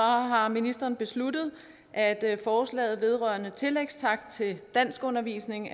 har ministeren besluttet at at forslaget vedrørende tillægstakst til danskundervisning